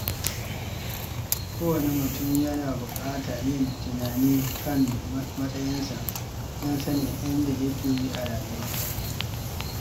Kowane mutum yana buƙatar yin tunani kan matsayinsa don sanin inda yake a rayuwa.